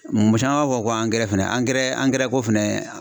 Mɔgɔ caman b'a fɔ ko angɛrɛ fɛnɛ angɛrɛ angɛrɛ ko fɛnɛ